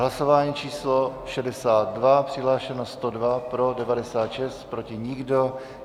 Hlasování číslo 62, přihlášeno 102, pro 96, proti nikdo.